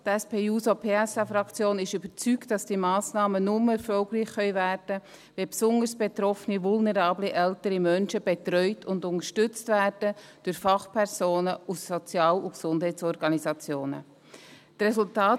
Die SP-JUSO-PSA-Fraktion ist überzeugt, dass diese Massnahmen nur erfolgreich werden können, wenn besonders betroffene vulnerable ältere Menschen durch Fachpersonen aus Sozial- und Gesundheitsorganisationen betreut und unterstützt werden.